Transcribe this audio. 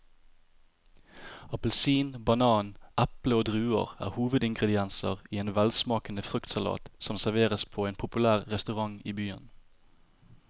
Appelsin, banan, eple og druer er hovedingredienser i en velsmakende fruktsalat som serveres på en populær restaurant i byen.